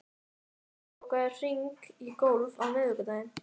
Flosi, bókaðu hring í golf á miðvikudaginn.